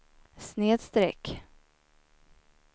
snedsträck